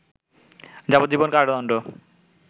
যাবজ্জীবন কারাদণ্ড